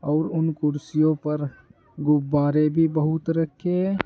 और उन कुर्सियों पर गुब्बारे भी बहुत रखे हैं।